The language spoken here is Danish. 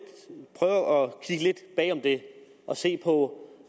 bag om det og se på